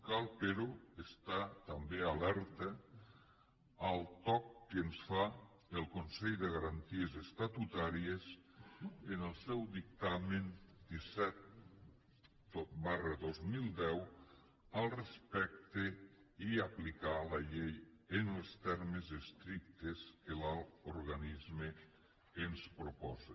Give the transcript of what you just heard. cal però estar també alerta al toc que ens fa el consell de garanties estatutàries en el seu dictamen disset dos mil deu al respecte i aplicar la llei en els termes estrictes que l’alt organisme ens proposa